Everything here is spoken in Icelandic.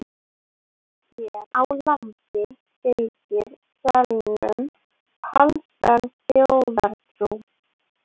Hér á landi fylgir selnum talsverð þjóðtrú.